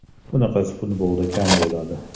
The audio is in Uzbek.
Bunaqasi futbolda kam bo‘ladi.